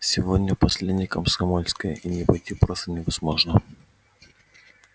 сегодня последней комсомольской и не пойти просто невозможно